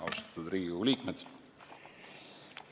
Austatud Riigikogu liikmed!